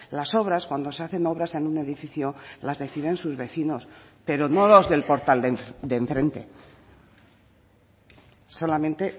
las obras cuando se hacen obras en un edificio las deciden sus vecinos pero no los del portal de enfrente solamente